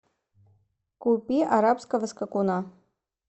купи арабского скакуна